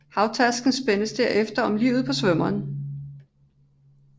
Havtasken spændes derefter om livet på svømmeren